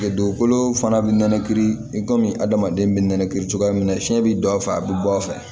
Dugukolo fana bi nɛnɛ kiiri i kɔmi adamaden bɛ nɛnɛkiri cogoya min na fiɲɛ bɛ don a fɛ a bɛ bɔ a fɛ